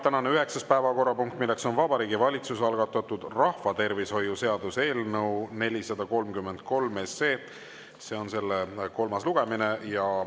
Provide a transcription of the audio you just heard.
Tänane üheksas päevakorrapunkt on Vabariigi Valitsuse algatatud rahvatervishoiu seaduse eelnõu 433 kolmas lugemine.